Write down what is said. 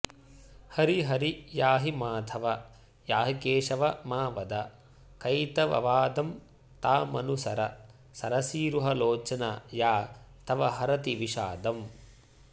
हरिहरि याहि माधव याहि केशव मा वद कैतववादं तामनुसर सरसीरुहलोचन या तव हरति विषादम्